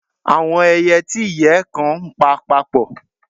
Awọn ẹiyẹ ti iyẹ kan npa papọ.